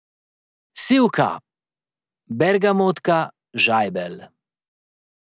Sivka, bergamotka, žajbelj.